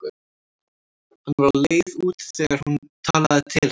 Hann var á leið út þegar hún talaði til hans.